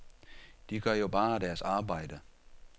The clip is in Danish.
De gør jo bare deres arbejde.